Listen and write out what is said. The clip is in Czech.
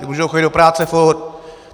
Ti mohou chodit do práce furt.